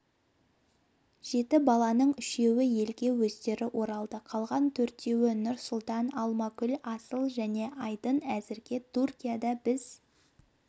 жеті баланың үшеуі елге өздері оралды қалған төртеуі нұрсұлтан алмагүл асыл және айдын әзірге түркияда біз